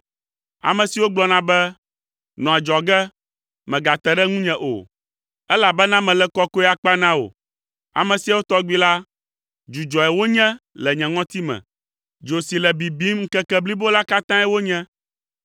Ame siwo gblɔna be, ‘Nɔ adzɔge, mègate ɖe ŋu nye o, elabena mele kɔkɔe akpa na wò!’ Ame siawo tɔgbi la, dzudzɔe wonye le nye ŋɔtime. Dzo si le bibim ŋkeke blibo la katãe wonye.